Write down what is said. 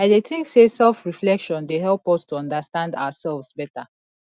i dey think say selfreflection dey help us to understand ourselves beta